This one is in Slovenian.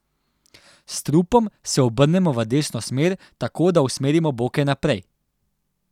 S trupom se obrnemo v desno smer, tako da usmerimo boke naprej.